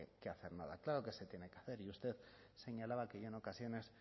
que hacer nada claro que se tiene que hacer y usted señalaba que yo en ocasiones